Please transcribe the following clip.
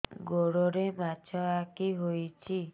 ଗୋଡ଼ରେ ମାଛଆଖି ହୋଇଛି